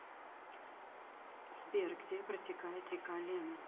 сбер где протекает река лена